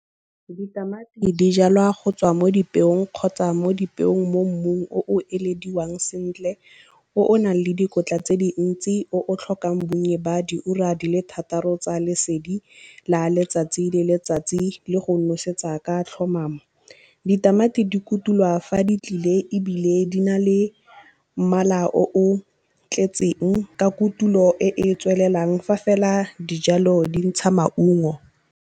Ditamati di jalwa go tswa mo dipeong kgotsa mo dipeong mo mmung o o ilediwang sentle, o o nang le dikotla tse dintsi, o o tlhokang bonnye ba diura di le thataro tsa lesedi la letsatsi le letsatsi le go nosetsa ka tlhomamo. Ditamati di kutula fa di tlile ebile di na le mmala o o tletseng ka kutulo e e tswelelang fa fela dijalo di ntsha maungo.